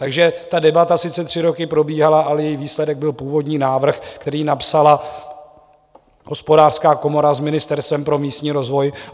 Takže ta debata sice tři roky probíhala, ale její výsledek byl původní návrh, který napsala Hospodářská komora s Ministerstvem pro místní rozvoj.